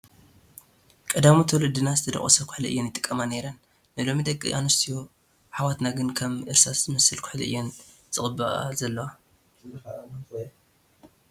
ቀዳሞት ወለድና ዝተደቖሰ ኹሕሊ እየን ይጥቀማ ነይረን፡፡ ናይ ሎሚ ደቂ ኣንስትዮ ኣሕዋትና ግን ከም እርሳስ ዝመስል ኩሕሊ እየን ዝቕብአ ዘለዋ፡፡